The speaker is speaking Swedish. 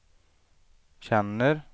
känner